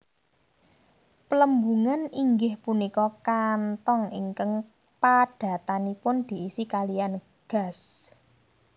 Plembungan inggih punika kantong ingkang padatanipun diisi kaliyan gas